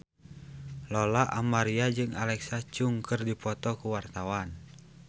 Lola Amaria jeung Alexa Chung keur dipoto ku wartawan